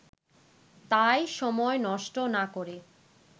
তাই সময় নষ্ট না করে